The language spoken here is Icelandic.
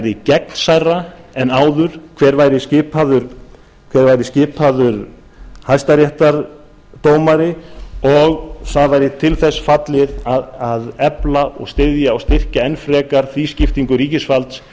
yrði gegnsærra en áður hver væri skipaður hæstaréttardómari og það væri til þess fallið að efla og styðja og styrkja enn frekar tvískiptingu ríkisvalds